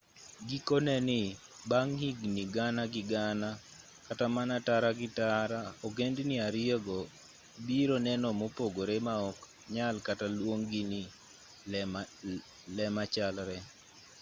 gikone ni bang' higni gana gi gana kata mana tara gi tara ogendni ariyogo biro neno mopogore ma ok nyal kata luong gi ni le machalre